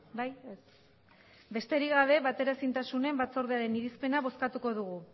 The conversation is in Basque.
bai ez besterik gabe bateraezintasunen batzordearen irizpena bozkatuko dugu